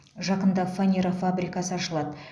жақында фанера фабрикасы ашылады